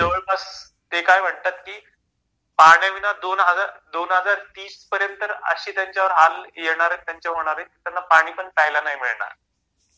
म्हणजे जवळपास ते काय म्हणतात की पण्याविना दोन हजार दोन हजार तीस पर्यंत अशे त्यांच्यावर हाल येणार आहेत त्यांचे होणार आहेत... त्यांना पाणी पण प्यायला नाही मिळणार.